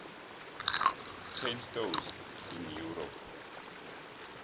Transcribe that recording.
chain stores in europe